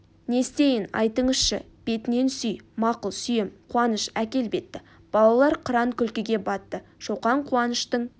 не істейін айтыңызшы бетінен сүй мақұл сүйем қуаныш әкел бетті балалар қыран күлкіге батты шоқан куаныштың